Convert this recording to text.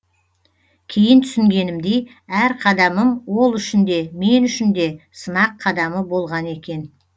кейін түсінгенімдей әр қадамым ол үшін де мен үшін де сынақ қадамы болған екен